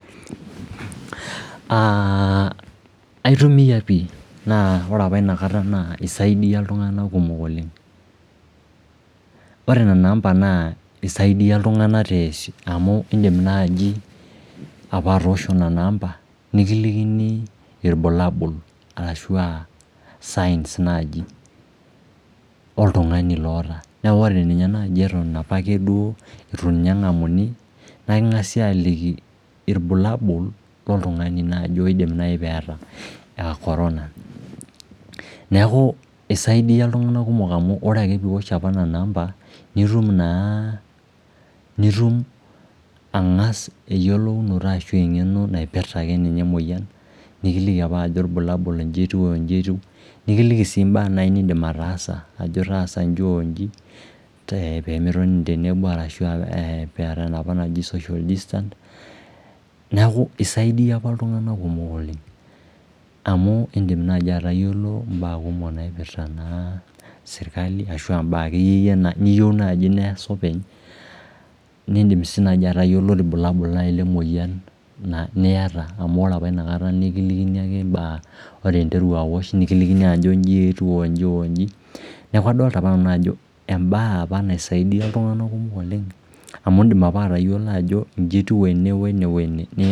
Aah aitumia pih naa ore apa inakata naa isaidia iltunganak pih iltunganak kumok oleng Ore nena amba naa isaidia iltunganak amu iidim naaji apa atoosho nena amba nikilikini ilbulabul arashu aa signs naaji oltungani loota Niaku ore ninye naai eton opake duo ninye eng'amuni naa king'asi aaliki ilbulabul loltungani oidim naai peeta aa Corona Neaku isaidia iltunganak kumok amu orake piiwosh apa nena amba nitum naa nitum angas enyiolounoto naipirhta akeninye emuoyian nikiliki apa ilbulabul ajo n'jietiu oo nji nikiliki sii naai imbaa niidim ataasa n'ji on'ji tenitonini tenebo arashu aa peeta enopa maji social distance niaku isaidia opa iltunganak kumok amu indim nai atayiolo im'baa kumok naipirta naa serkali ashu aa mbaa akeyie niyieu naji neasa openy niidim sii nai atayiolo ilbulabul nai lemoyian niyata amu ore opa inakata nikilikini ake im'baa ore interu awosh nekilikini ajo inji etiu onji onji niaku adolita opa nanu ajo embae opa naisaidia iltunganak kumok oleng amu indim opa atayiolo ajo inji etiu ene wene wene